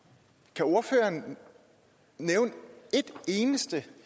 kan ordføreren nævne et eneste